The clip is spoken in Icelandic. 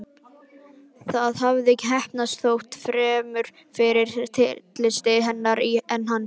Það hafði heppnast, þó fremur fyrir tilstilli hennar en hans.